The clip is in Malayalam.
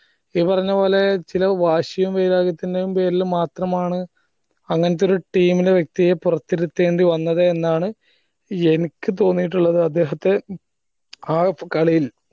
ഈ പറഞ്ഞപോലെ ചില വാശിയും വൈര്യകത്തിന്റെയും പേരില് മാത്രമാണ് അങ്ങനത്തെ ഒരു team ല് വ്യക്തിയെ പോറതിരുത്തേണ്ടി വന്നത് എന്നാണ് എനിക്ക് തോന്നിയിട്ടുള്ളത് അദ്ദേഹത്തെ ആ കളിയിൽ